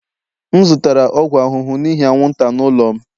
M zụtara ọgwụ ahụhụ n'ihi anwụnta n'ụlọ m